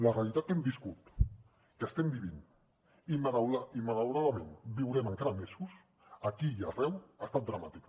la realitat que hem viscut que estem vivint i que malauradament viurem encara mesos aquí i arreu ha estat dramàtica